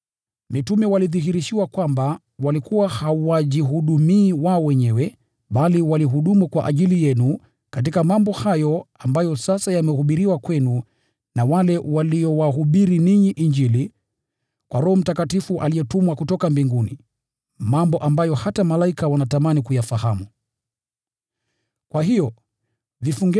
Walidhihirishiwa kwamba walikuwa hawajihudumii wao wenyewe, bali waliwahudumia ninyi, waliponena kuhusu mambo hayo, ambayo sasa yamehubiriwa kwenu na wale waliowahubiria ninyi Injili kwa Roho Mtakatifu aliyetumwa kutoka mbinguni. Hata malaika wanatamani kuyafahamu mambo haya.